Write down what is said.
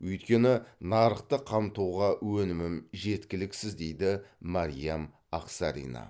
өйткені нарықты қамтуға өнімім жеткіліксіз дейді мәриям ақсарина